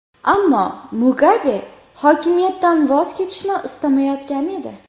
Ammo Mugabe hokimiyatdan voz kechishni istamayotgan edi.